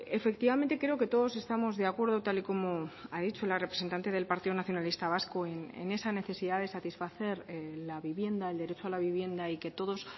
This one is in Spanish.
efectivamente creo que todos estamos de acuerdo tal y como ha dicho la representante del partido nacionalista vasco en esa necesidad de satisfacer la vivienda el derecho a la vivienda y que todos